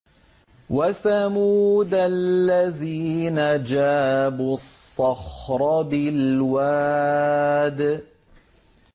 وَثَمُودَ الَّذِينَ جَابُوا الصَّخْرَ بِالْوَادِ